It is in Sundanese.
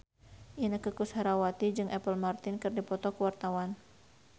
Inneke Koesherawati jeung Apple Martin keur dipoto ku wartawan